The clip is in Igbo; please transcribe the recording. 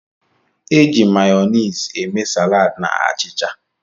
E ji Mayoniisi eme saladi na achịcha.